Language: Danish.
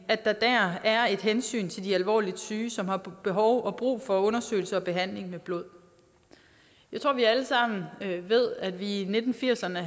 er et hensyn til de alvorligt syge som har behov og brug for undersøgelse og behandling med blod jeg tror vi alle sammen ved at der i nitten firserne